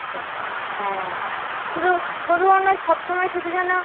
খরচা হ্যাঁ শুধু শুধু ওনার সব সময় শুধু যেন